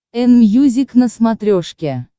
энмьюзик на смотрешке